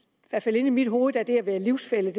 inde i mit hoved er det at være livsfælle i